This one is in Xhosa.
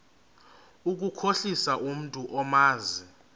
ukukhohlisa umntu omazi